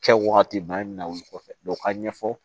Kɛ wagati bana min na wuli kɔfɛ dɔn ka ɲɛ fɔ